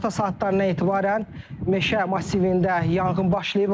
Günorta saatlarından etibarən meşə massivində yanğın başlayıb.